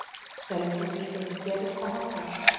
Sölvi: Þú vilt ekki gefa upp hvað margar?